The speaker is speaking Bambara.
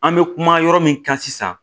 An bɛ kuma yɔrɔ min kan sisan